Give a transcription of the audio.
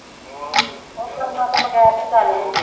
ਉਹ ਕਰਮ ਤੋਂ ਬਗੈਰ ਨਹੀਂ ਗੱਲ ਹੁੰਦੀ।